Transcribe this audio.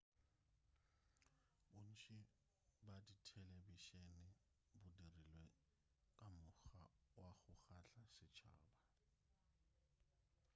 bontši bja dithelebišene bo dirilwe ka mokgwa wa go kgahla setšhaba